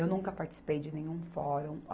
Eu nunca participei de nenhum fórum.